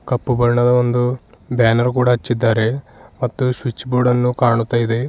ಕಪ್ಪು ಬಣ್ಣದ ಒಂದು ಬ್ಯಾನರ್ ಕೂಡ ಅಚ್ಚಿದ್ದಾರೆ ಮತ್ತು ಸ್ವಿಚ್ ಬೋರ್ಡ ನ್ನು ಕಾಣುತ್ತಾ ಇದೆ.